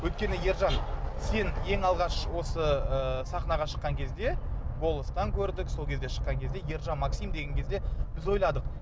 өйткені ержан сен ең алғаш осы ы сахнаға шыққан кезде голостан көрдік сол кезде шыққан кезде ержан максим деген кезде біз ойладық